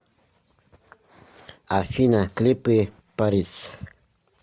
афина клипы парис